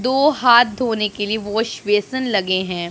दो हाथ धोने के लिए वॉश बेसिन लगे हैं।